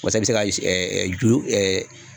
Wasa i be se ka ju